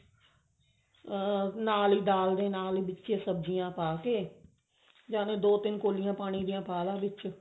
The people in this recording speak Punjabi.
ਨਾਲ ਹੀ ਦਾਲ ਦੇ ਨਾਲ ਹੀ ਵਿੱਚ ਸਬਜੀਆਂ ਪਾ ਕੇ ਜਾਨੀ ਦੋ ਤਿੰਨ ਕੋਲੀਆਂ ਪਾਣੀ ਦੀਆਂ ਪਾਲਾ ਵਿੱਚ